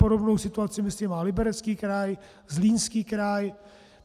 Podobnou situaci má, myslím, Liberecký kraj, Zlínský kraj.